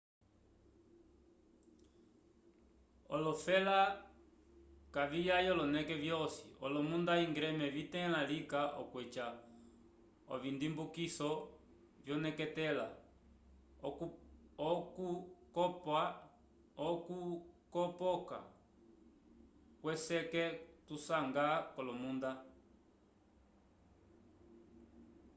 olofela kaviyaya oloneke vyosi olomunda íngreme vitẽla lika okweca ovindimbukiso vyoneketela okukopoka kweseke tusanga k'olomunda